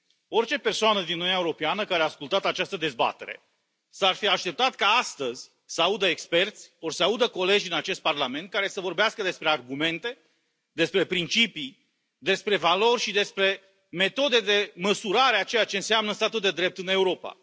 Orice persoană din Uniunea Europeană care a ascultat această dezbatere s ar fi așteptat ca astăzi să audă experți ori să audă colegi în acest Parlament care să vorbească despre argumente, despre principii, despre valori și despre metode de măsurare a ceea ce înseamnă statul de drept în Europa.